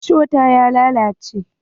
Rishon ta ya lalace.